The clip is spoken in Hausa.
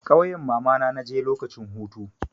Ƙauyan mamana na je lokacin hutu.